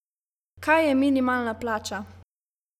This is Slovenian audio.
Kaj je minimalna plača?